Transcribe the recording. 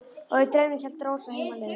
Og í draumnum hélt Rósa heim á leið.